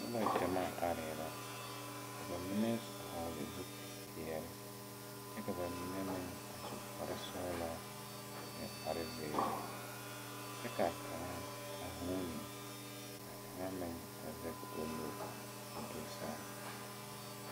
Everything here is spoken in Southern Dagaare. Nobɔ gyamaa aree la ka ba mine hɔɔle zupil peɛɛle kyɛ ka ba mine meŋ a su kparesɔglɔ ne kparezeere kyɛ kaa kaŋa a vuune ka kaŋa meŋ a zege o nu koo do saa.